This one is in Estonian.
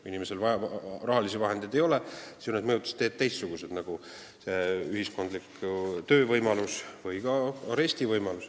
Kui inimesel rahalisi vahendeid ei ole, siis on mõjutusteed teistsugused, nagu ühiskondlik töö või ka arest.